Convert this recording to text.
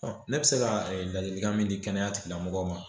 ne bɛ se ka ladilikan min di kɛnɛyatigilamɔgɔw ma